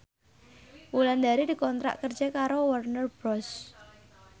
Wulandari dikontrak kerja karo Warner Bros